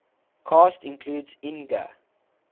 cast includes inga